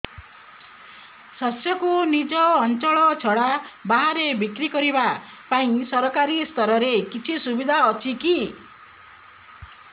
ଶସ୍ୟକୁ ନିଜ ଅଞ୍ଚଳ ଛଡା ବାହାରେ ବିକ୍ରି କରିବା ପାଇଁ ସରକାରୀ ସ୍ତରରେ କିଛି ସୁବିଧା ଅଛି କି